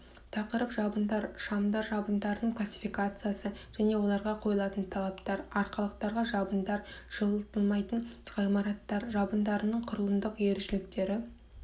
тақырып жабындар шамдар жабындардың классификациясы және оларға қойылатын талаптар арқалықтарға жабындар жылытылмайтын ғимараттар жабындарының құрылымдық ерекшеліктері